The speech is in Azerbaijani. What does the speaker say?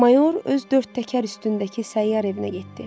Mayor öz dörd təkər üstündəki səyyar evinə getdi.